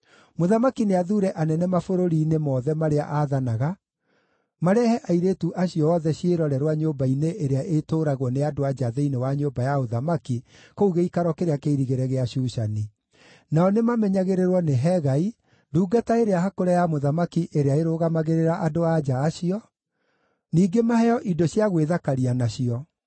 Mũthamaki nĩathuure anene mabũrũri-inĩ mothe marĩa aathanaga marehe airĩtu acio othe ciĩrorerwa nyũmba-inĩ ĩrĩa ĩtũũragwo nĩ andũ-a-nja thĩinĩ wa nyũmba ya ũthamaki kũu gĩikaro kĩrĩa kĩirigĩre gĩa Shushani. Nao nĩmamenyagĩrĩrwo nĩ Hegai, ndungata ĩrĩa hakũre ya mũthamaki ĩrĩa yarũgamagĩrĩra andũ-a-nja acio; ningĩ maheo indo cia gwĩthakaria nacio.